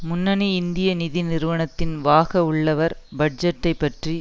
முன்னணி இந்திய நிதி நிறுவனத்தில் வாக உள்ளவர் பட்ஜெட்டை பற்றி